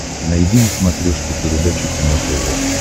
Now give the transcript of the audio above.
найди на смотрешке передачу кино тв